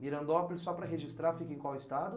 Mirandópolis, só para registrar, fica em qual estado?